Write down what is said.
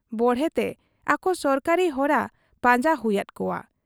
ᱵᱚᱲᱦᱮᱛᱮ ᱟᱠᱚ ᱥᱚᱨᱠᱟᱨᱤ ᱦᱚᱨᱟ ᱯᱟᱸᱡᱟ ᱦᱩᱭᱟᱫ ᱠᱚᱣᱟ ᱾